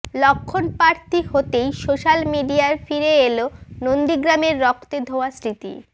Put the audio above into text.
লক্ষ্মণ প্রার্থী হতেই সোশ্যাল মিডিয়ায় ফিরে এল নন্দীগ্রামের রক্তে ধোয়া স্মৃতি